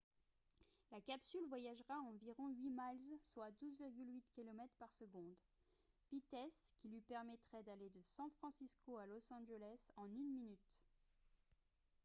la capsule voyagera à environ 8 miles soit 12,8 km par seconde vitesse qui lui permettrait d’aller de san francisco à los angeles en une minute